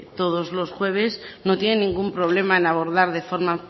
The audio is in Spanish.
todos los jueves no tiene ningún problema en abordar de forma